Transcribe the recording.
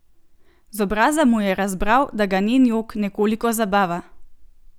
Z obraza mu je razbral, da ga njen jok nekoliko zabava.